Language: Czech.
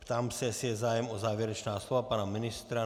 Ptám se, jestli je zájem o závěrečná slova pana ministra.